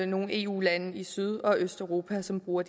nogle eu lande i syd og østeuropa som bruger